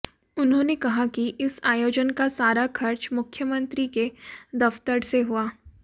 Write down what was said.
उन्होंने कहा कि इस आयोजन का सारा खर्च मुख्यमंत्री के दफ्तर से हुआ